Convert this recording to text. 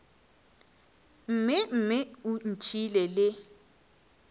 mme mme o ntšhiile le